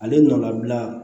Ale nɔlabila